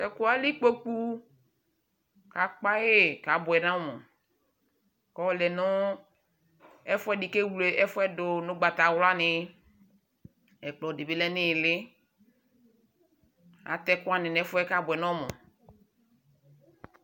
Tɛ kuɛ ali kpokpu Akpa yi ku abuɛ nu ɔmu Ku ɔlɛ nu ɛfuɛ di ku ewle ɛfuɛ du nu ugbatawlani Ɛkplɔ di bi lɛ nu iili atɛ ɛkuani nu ɛfuyɛ ku abuɛ nu ɔmu